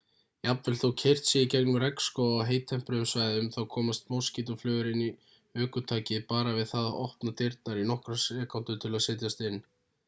jafnvel þótt keyrt sé í gegnum regnskóga á heittempruðum svæðum þá komast moskítóflugur inn í ökutækið bara við það að opna dyrnar í nokkrar sekúndur til að setjast inn